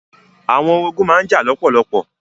Àwọn orogún má n jà lọ́pọ̀lọpọ̀.